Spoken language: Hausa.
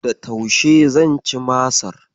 Da taushe zan ci Masar.